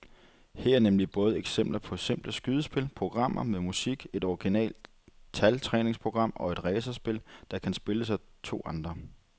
Her er nemlig både eksempler på simple skydespil, programmer med musik, et originalt taltræningsprogram og et racerspil, der kan spilles af to spillere.